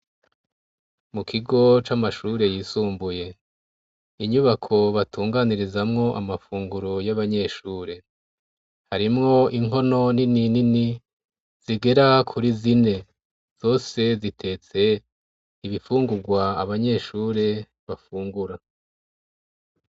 Mu kigo c'amashure yisumbuye, inyubako batunganirizamwo amafunguro y'abanyeshure. Harimwo inkono nini nini zigera kuri zine. Zose zitetse ibifungurwa abanyeshure bafungura.